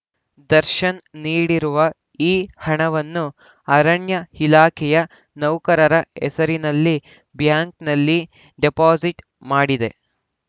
ದರ್ಶನ್‌ ನೀಡಿರುವ ಈ ಹಣವನ್ನು ಅರಣ್ಯ ಇಲಾಖೆಯೇ ನೌಕರರ ಹೆಸರಿನಲ್ಲಿ ಬ್ಯಾಂಕ್‌ನಲ್ಲಿ ಡಿಪಾಸಿಟ್‌ ಮಾಡಿದೆ